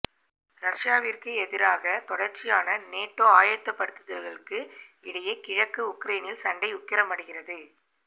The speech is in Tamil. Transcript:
ரஷ்யாவிற்கு எதிராக தொடர்ச்சியான நேட்டோ ஆயத்தப்படுத்தல்களுக்கு இடையே கிழக்கு உக்ரேனில் சண்டை உக்கிரமடைகிறது